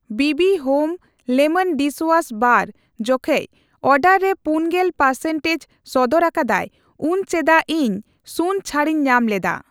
ᱵᱤᱵᱤ home lemon dishwash bar ᱡᱚᱠᱷᱮᱡᱽ order ᱨᱮ ᱯᱩᱱᱜᱮᱞ ᱯᱟᱨᱥᱮᱱᱴᱮᱡ ᱥᱚᱫᱚᱨ ᱟᱠᱟᱫᱟᱭ ᱩᱱ ᱪᱮᱫᱟᱜ ᱤᱧ ᱥᱩᱱ ᱪᱷᱟᱹᱲᱤᱧ ᱧᱟᱢᱞᱮᱫᱟ ᱾